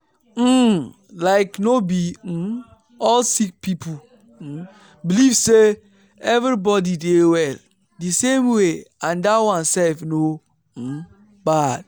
um like no be um all sick people um believe say everybody dey well di same way and dat one sef no um bad.